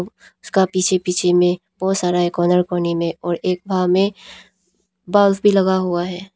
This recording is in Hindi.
उसका पीछे पीछे में बहुत सारा एकोनर कोने में और एक भाग में बल्ब भी लगा हुआ है।